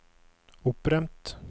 opprømt